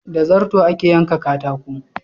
Da zarto ake yanka katako.